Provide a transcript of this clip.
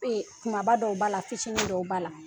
Kumaba dɔw b'a la fitinin dɔw b'a la.